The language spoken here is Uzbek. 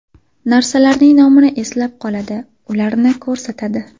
Narsalarning nomini eslab qoladi, ularni ko‘rsatadi.